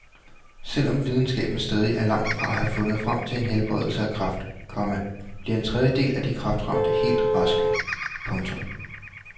Selv om videnskaben stadig er langt fra at have fundet frem til en helbredelse af kræft, komma bliver en tredjedel af de kræftramte helt raske. punktum